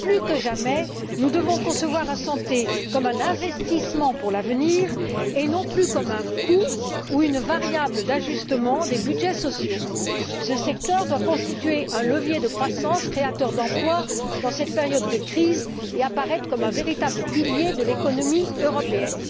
Plus que jamais, nous devons concevoir la santé comme un investissement pour l'avenir, et non plus comme un coût ou une variable d'ajustement des budgets sociaux. Ce secteur doit constituer un levier de croissance créateur d'emplois dans cette période de crise, et apparaître comme un véritable pilier de l'économie européenne.